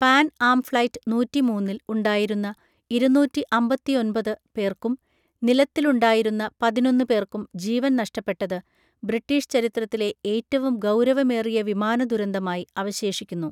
Pan Am flight നൂറ്റിമൂന്നിൽ ഉണ്ടായിരുന്ന ഇരുന്നൂറ്റി അമ്പത്തിയൊൻപത് പേർക്കും നിലത്തിലുണ്ടായിരുന്ന പതിനൊന്ന് പേർക്കും ജീവൻ നഷ്ടപ്പെട്ടത് ബ്രിട്ടീഷ് ചരിത്രത്തിലെ ഏറ്റവും ഗൗരവമേറിയ വിമാന ദുരന്തമായി അവശേഷിക്കുന്നു.